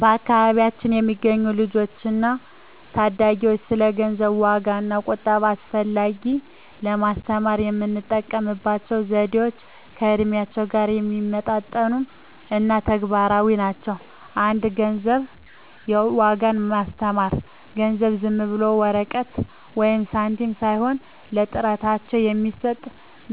በአካባቢያችን ለሚገኙ ልጆች እና ታዳጊዎች ስለ ገንዘብ ዋጋ እና ቁጠባ አስፈላጊነት ለማስተማር የምንጠቀምባቸው ዘዴዎች ከእድሜያቸው ጋር የሚመጣጠኑ እና ተግባራዊ ናቸው። 1) የገንዘብ ዋጋን ማስተማር ገንዘብ ዝም ብሎ ወረቀት ወይም ሳንቲም ሳይሆን ለጥረታቸው የሚሰጥ